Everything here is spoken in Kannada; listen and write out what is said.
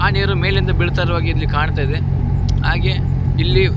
ನೀರು ಮೇಲಿಂದ ಬೀಳ್ತಾಯಿರೋ ಹಾಗೆ ಇಲ್ಲಿ ಕಾಣ್ತಾದೆ ಹಾಗೆ ಇಲ್ಲಿ.